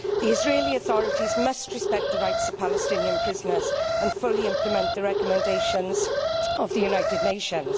The Israeli authorities must respect the rights of Palestinian prisoners and fully implement the recommendations of the United Nations.